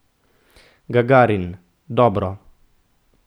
Gagarin: "Dobro.